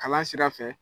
Kalan sira fɛ